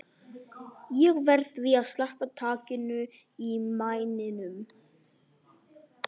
Ég verð því að sleppa takinu á mæninum.